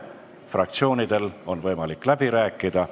Fraktsioonidel on võimalik läbi rääkida.